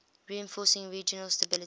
reinforcing regional stability